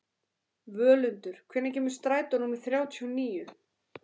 Völundur, hvenær kemur strætó númer þrjátíu og níu?